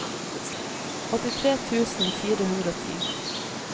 åttitre tusen fire hundre og ti